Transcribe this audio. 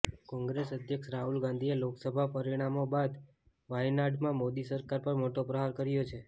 કોંગ્રેસ અધ્યક્ષ રાહુલ ગાંધીએ લોકસભા પરિણામો બાદ વાયનાડમા મોદી સરકાર પર મોટો પ્રહાર કર્યો છે